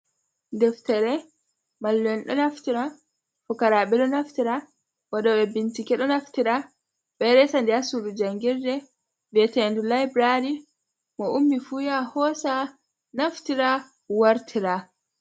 Deftere, mallu en ɗo naftira fukara ɓe ɗo naftira, waɗoɓe bincike ɗo naftira ɓeɗo resa nde hasudu jangirde viyete ndu laibrary, mo ummi fu ya hosa naftira wartira.